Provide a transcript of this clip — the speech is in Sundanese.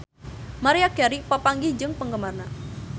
Maria Carey papanggih jeung penggemarna